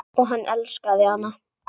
Og hann elskaði hana.